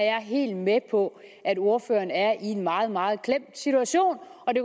er helt med på at ordføreren er i en meget meget klemt situation og det